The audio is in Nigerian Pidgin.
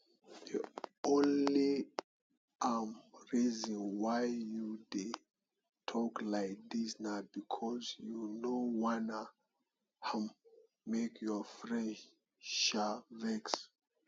the only um reason why you dey talk like dis na because you no wan um make your friend um vex